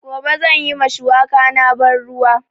Gobe zan yi ma shuwaka na ban ruwa